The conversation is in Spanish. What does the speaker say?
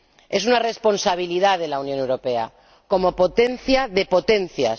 Es una responsabilidad de la Unión Europea como potencia de potencias.